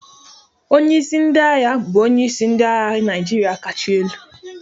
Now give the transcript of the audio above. Onye isi ndị agha bụ onyeisi ndị agha Naịjirịa kacha elu.